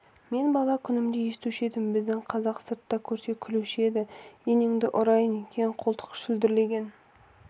мен бала күнімде естуші едім біздің казақ сартты көрсе күлуші еді енеңді ұрайын кең қолтық шүлдірлеген